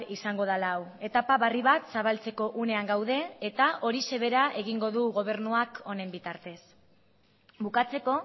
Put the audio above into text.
izango dela hau etapa berri bat zabaltzeko unean gaude eta horixe bera egingo du gobernuak honen bitartez bukatzeko